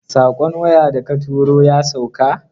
Saƙon waya da ka tura ya sauka?